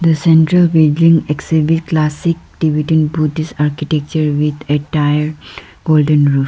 the center of building exhibit classic tibetan buddhist architecture with attire golden roof.